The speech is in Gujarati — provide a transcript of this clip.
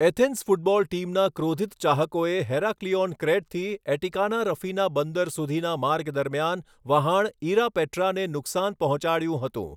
એથેન્સ ફૂટબોલ ટીમના ક્રોધિત ચાહકોએ હેરાક્લિઓન, ક્રેટથી એટિકાના રફિના બંદર સુધીના માર્ગ દરમિયાન વહાણ 'ઇરાપેટ્રા'ને નુકસાન પહોંચાડ્યું હતું.